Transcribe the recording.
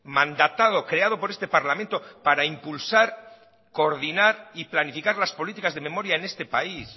mandatado creado por este parlamento para impulsar coordinar y planificar las políticas de memoria en este país